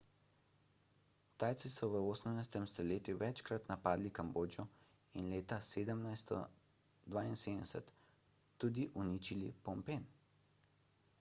tajci so v 18 stoletju večkrat napadli kambodžo in leta 1772 tudi uničili phnom phen